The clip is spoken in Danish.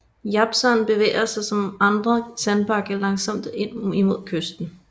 Japsand bevæger sig som andre sandbanke langsomt ind imod kysten